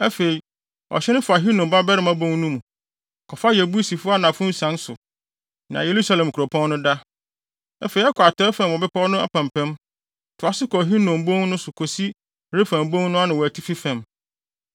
Afei, ɔhye no fa Hinom babarima bon no mu, kɔfa Yebusifo anafo nsian so, nea Yerusalem kuropɔn no da. Afei ɛkɔ atɔe fam wɔ bepɔw no apampam, toa so kɔ Hinom bon no so kosi Refaim bon ano wɔ atifi fam.